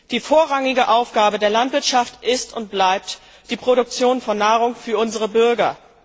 Die vorrangige Aufgabe der Landwirtschaft ist und bleibt die Produktion von Nahrung für unsere Bürger.